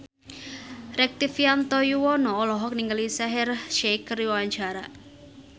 Rektivianto Yoewono olohok ningali Shaheer Sheikh keur diwawancara